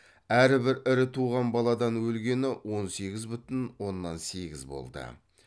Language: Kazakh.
әрбір ірі туған баладан өлгені он сегіз бүтін оннан сегіз болды